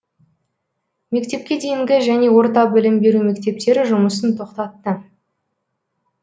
мектепке дейінгі және орта білім беру мектептері жұмысын тоқтатты